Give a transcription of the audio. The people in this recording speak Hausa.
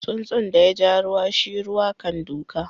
Tsuntsun da ya ja ruwa shi ruwa kan doka.